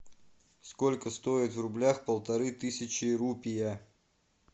сколько стоит в рублях полторы тысячи рупия